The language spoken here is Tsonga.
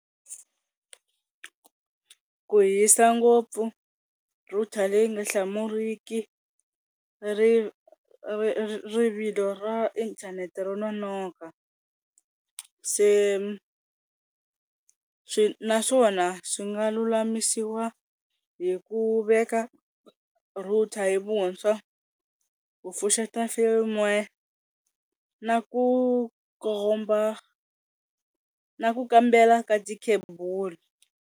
Ku hisa ngopfu, router leyi nga hlamuriki hi ri rivilo ra inthanete ro nonoka, se swi naswona swi nga lulamisiwa hi ku veka router hi vuntshwa ku pfuxeta Film work na ku komba na ku kambela ka tikhebulu.